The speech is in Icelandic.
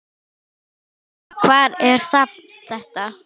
Hvar er safn þetta?